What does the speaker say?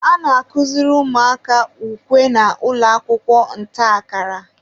a na-akụziri ụmụaka ukwe na ụlọakwụkwọ ntakara